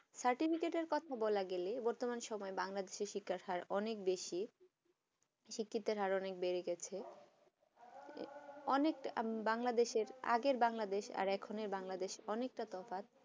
certificate কথা বলা গেলে বতর্মান সময় বাংলাদেশের শিক্ষার হার অনেক বেশি শিক্ষিত হার অনেক বেড়ে গেছে অনেক বাংলাদেশ আগের বাংলাদেশ এখন বাংলাদেশ অনেক তা তফাত